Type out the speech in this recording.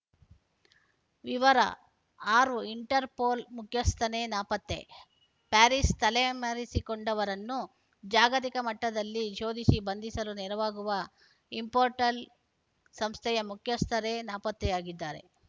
ವಿವರ ಆರು ಇಂಟರ್‌ಪೋಲ್‌ ಮುಖ್ಯಸ್ಥನೇ ನಾಪತ್ತೆ ಪ್ಯಾರಿಸ್‌ ತಲೆಮರೆಸಿಕೊಂಡವರನ್ನು ಜಾಗತಿಕ ಮಟ್ಟದಲ್ಲಿ ಶೋಧಿಸಿ ಬಂಧಿಸಲು ನೆರವಾಗುವ ಇಂಪೋಟಲ್‌ ಸಂಸ್ಥೆಯ ಮುಖ್ಯಸ್ಥರೇ ನಾಪತ್ತೆಯಾಗಿದ್ದಾರೆ